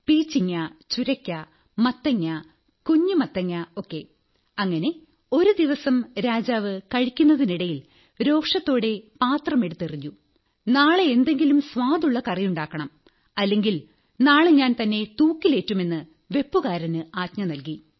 പീച്ചിങ്ങ ചുരയ്ക്ക മത്തങ്ങ കുഞ്ഞുമത്തങ്ങ ഒക്കെഅങ്ങനെ ഒരു ദിവസം രാജാവ് കഴിക്കുന്നതിനിടയിൽ രോഷത്തോടെ പാത്രമെടുത്തെറിഞ്ഞു നാളെ എന്തെങ്കിലും സ്വാദുള്ള കറിയുണ്ടാക്കണം അല്ലെങ്കിൽ നാളെ ഞാൻ തന്നെ തൂക്കിലേറ്റുമെന്ന് വെപ്പുകാരന് ആജ്ഞ നല്കി